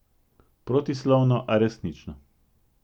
Protislovno, a resnično.